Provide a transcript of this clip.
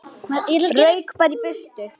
Rauk bara í burtu.